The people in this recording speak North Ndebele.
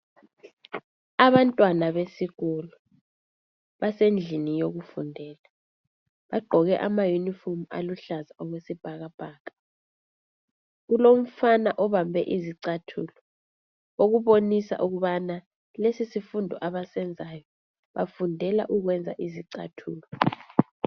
Abantwana besikolo basendlini yokufundela bagqoke amayunifomu aluhlaza okwesibhakabhaka, kulomfana obambe izichathulo okubonisa ukubana lesi sifundo abasenzayo bafundela ukwenza izicathulo.